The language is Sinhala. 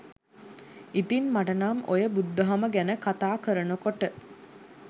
ඉතින් මටනම් ඔය බුදු දහම ගැන කතා කරනකොට